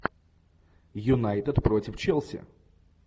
юнайтед против челси